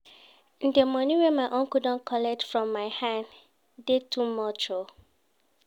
Di moni wey my uncle don collect from my hand dey too much o.